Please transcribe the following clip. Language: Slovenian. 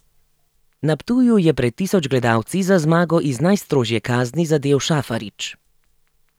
Na Ptuju je pred tisoč gledalci za zmago iz najstrožje kazni zadel Šafarić.